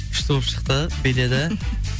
күшті болып шықты биледі